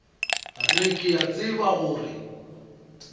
re ke a tseba gore